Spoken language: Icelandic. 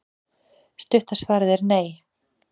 Stutta svarið er nei.